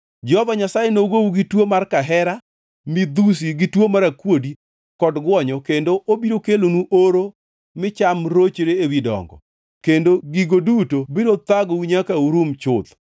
Jehova Nyasaye nogou gi tuo mar kahera, midhusi gi tuo akuodi kod gwonyo kendo obiro kelonu oro mi cham rochre ewi dongo; kendo gigo duto biro thagou nyaka urum chuth.